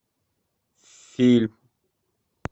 фильм